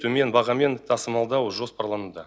төмен бағамен тасымалдау жоспарлануда